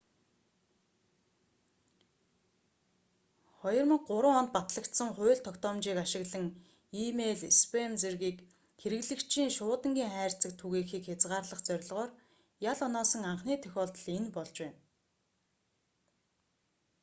2003 онд батлагдсан хууль тогтоомжийг ашиглан и-мэйл спам зэргийг хэрэглэгчийн шуудангийн хайрцагт түгээхийг хязгаарлах зорилгоор ял оноосон анхны тохиолдол энэ болж байна